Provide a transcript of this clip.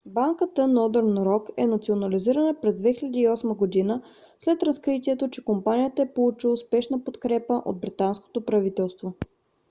банката northern rock е национализирана през 2008 г. след разкритието че компанията е получила спешна подкрепа от британското правителство